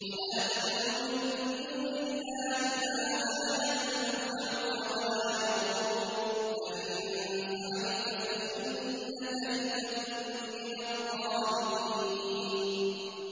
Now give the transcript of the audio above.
وَلَا تَدْعُ مِن دُونِ اللَّهِ مَا لَا يَنفَعُكَ وَلَا يَضُرُّكَ ۖ فَإِن فَعَلْتَ فَإِنَّكَ إِذًا مِّنَ الظَّالِمِينَ